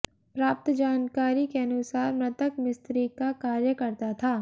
प्राप्त जानकारी के अनुसार मृतक मिस्त्री का कार्य करता था